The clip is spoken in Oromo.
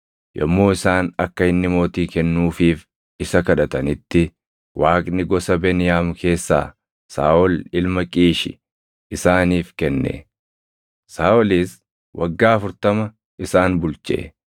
Yommuu isaan akka inni mootii kennuufiif isa kadhatanitti Waaqni gosa Beniyaam keessaa Saaʼol ilma Qiishi isaaniif kenne; Saaʼolis waggaa 40 isaan bulche.